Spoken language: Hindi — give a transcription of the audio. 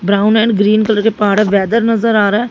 ब्राउन एंड ग्रीन कलर पहाड़ हैं वेदर नजर आ रहा--